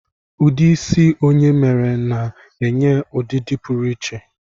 Ụdị isi onye mere na-enye ọdịdị pụrụ iche